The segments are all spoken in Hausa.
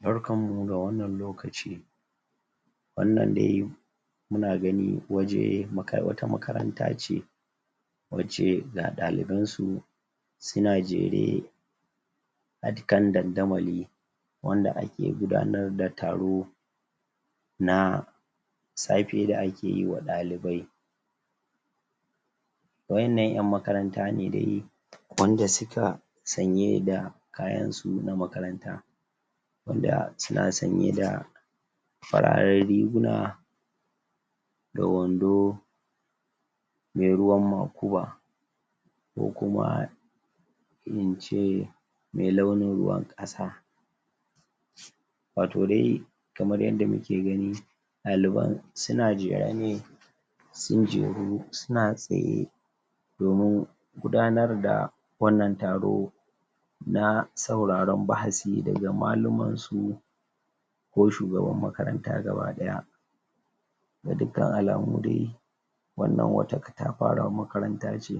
barkan mu da wannan lokaci wannan dai muna gani waje wata makaranta ce wacce ga ɗalibansu suna jere a kan dandamali wanda ake gudanar da taro na safe da ake yiwa ɗalibai waƴanna ƴan makaranta ne dai wanda suka sanye da kayan su na makaranta wanda suna sanye da fararen riguna da wando me ruwan makuba ko kuma ince me launin ruwan ƙasa wato dai kamar yadda muke gani ɗaliban suna jere ne sun jeru suna tsaye domin gudanar da wannan taro na sauraron wa'azi daga malumansu ko shugaban makaranta gaba ɗaya ga dukkan alamu dai wannan wata katafarar makaranta ce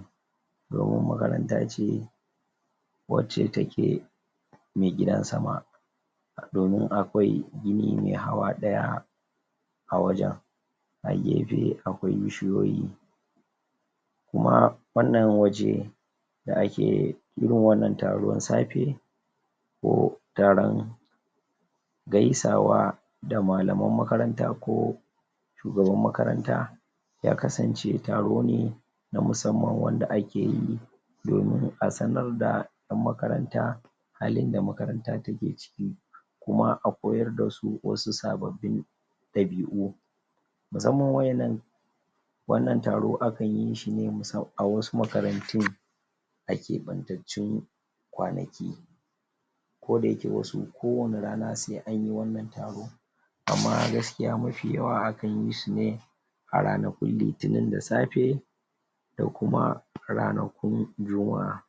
domin makaranta ce wacca take me gidan sama domin akwai gini me hawa ɗaya a wajan a gefe akwai bishiyoyi kuma wannan waje da ake irin wannan taron safe ko taron gaisawa da malaman makaranta ko shugaban makaranta ya kasance taro ne na musamman wanda ake yi domin a sanar da ƴan makaranta halinda makaranta take ciki kuma a koyar dasu wasu sababbin ɗabi'u musamman waƴannan wannan taro akan yishine musamman a wasu makarantun a keɓantaccun kwanaki ko da yake wasu ko wacca rana se anyi wannan taro amma gaskiya mafi yawa akan yishine a ranakun litinin da safe da kuma ranakun juma'a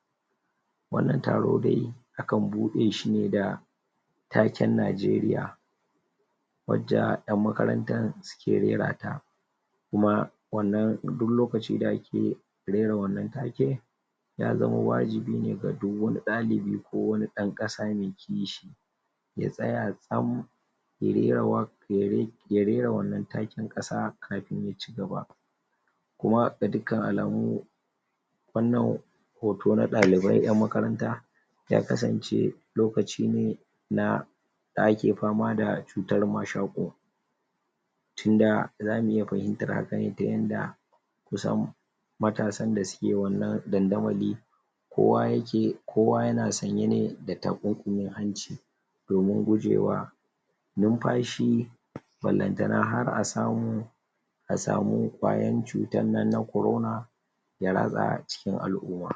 wannan taro dai akan buɗe shine da taken Nigeria wacca ƴan makarantar suke rera ta kuma wannan duk lokaci da ake rera wannan take ya zama wajibi ne ga duk wani ɗalibi ko wani ɗan ƙasa me kishi ya tsaya tsam ya rera waƙar ya rera wannan taken ƙasa kafin yaci gaba kuma ga dukkan alamu wannan hoto na dalibai ƴan makaranta ya kasance lokaci ne na da ake fama da cutar mashoƙo tinda zamu iya fahimtar hakan ta yanda kusan matasan da suke wannan dandamali kowa yake kowa yana sanye ne da takunkumin hanci domin gujewa numfashi ballantana har a samu a samu bayan cutar nan na corona ya ratsa a cikin al'umma